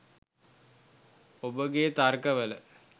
ඔබගේ තර්ක වල